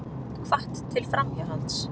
Hvatt til framhjáhalds